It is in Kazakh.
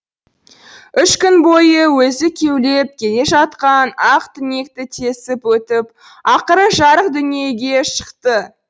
үш күн бойы өзі кеулеп келе жатқан ақ түнекті тесіп өтіп ақыры жарық дүниеге шықты